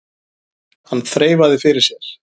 Hann þreifaði fyrir sér.